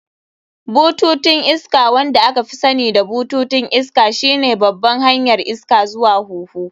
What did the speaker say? Bututun iska, wanda aka fi sani da bututun iska, shine babban hanyar iska zuwa huhu.